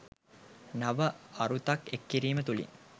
නව අරුතක් එක් කිරීම තුළින්